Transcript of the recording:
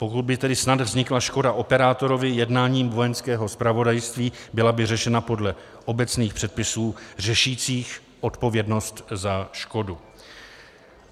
Pokud by tedy snad vznikla škoda operátorovi jednáním Vojenského zpravodajství, byla by řešena podle obecných předpisů řešících odpovědnost za škodu.